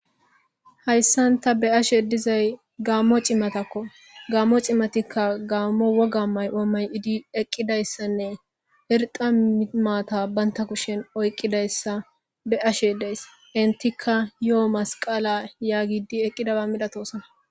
Hayssan ta be'ashe dizay gaammo cimatakko gammo cimatikka gaammo woga mayo mayidi eqqidayssanne irda maata banta kushen oyqqidayssa be'ashe deys intikka yoo masqala yaagidi eqqidaba milatosona